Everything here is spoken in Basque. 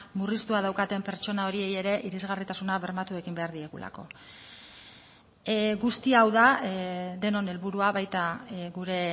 murriztua daukaten pertsona horiei ere irisgarritasuna bermatu egin behar diegulako guzti hau da denon helburua baita gure